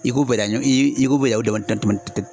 I k'u bɛɛ dan, bɛɛ dan u dama